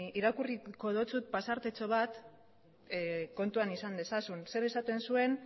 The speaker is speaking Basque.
irakurriko dizut pasartetxo bat kontuan izan dezazun zer esaten zuen